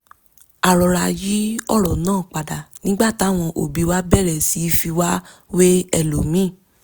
a rọra yí ọ̀rọ̀ náà padà nígbà táwọn òbí wa bẹ̀rẹ̀ sí í fi wá wé ẹlòmíì